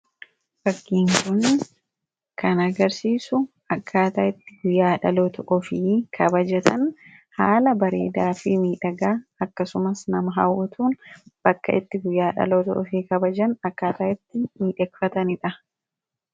fakkiin kun kan agarsiisu akkaataa itti guyyaa dhaloota ofii kabajatan haala bareedaafii miidhagaa akkasumas nama hawatuun bakka itti guyyaa dhaloota ofi kabajan akkaataa itti midheakfataniidha.